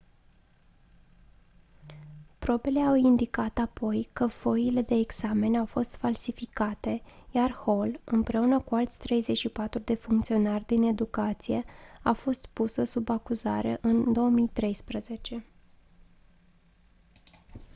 probele au indicat apoi că foile de examen au fost falsificate iar hall împreună cu alți 34 de funcționari din educație a fost pusă sub acuzare în 2013